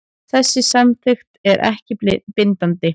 Þessi samþykkt er ekki bindandi